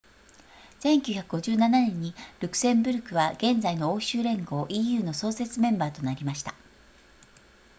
1957年にルクセンブルクは現在の欧州連合 eu の創設メンバーとなりました